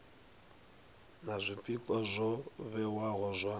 na zwpikwa zwo vhewaho zwa